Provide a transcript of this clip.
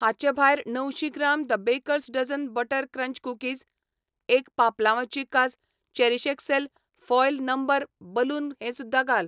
हांचे भायर णवशीं gram the baker's dozen butter crunch cookies, एक पापलांवाची कास चेरीशएक्सल् फॉयल नंबर बलून हें सुध्दां घाल.